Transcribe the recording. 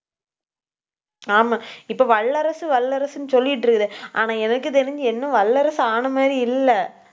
ஆமா, இப்ப வல்லரசு, வல்லரசுன்னு சொல்லிட்டு இருக்கற. ஆனா எனக்குத் தெரிஞ்சு இன்னும் வல்லரசு ஆன மாதிரி இல்லை